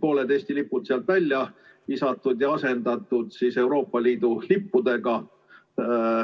pooled Eesti lipud sealt välja visatud ja asendatud Euroopa Liidu lippudega.